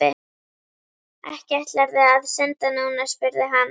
Ekki ætlarðu að synda núna? spurði hann.